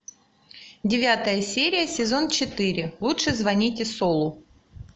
девятая серия сезон четыре лучше звоните солу